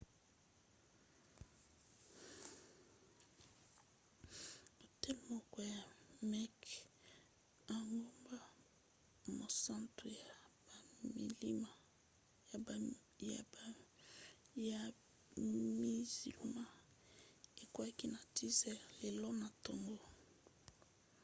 hotel moko ya mecque engumba mosantu ya bamizilma ekweaki na 10 h lelo na ntongo